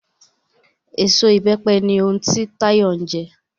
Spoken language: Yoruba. Eso Ìbẹ́pẹ ni ohun ti Táyọ̀ ń jẹ